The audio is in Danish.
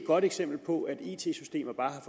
godt eksempel på at it systemerne bare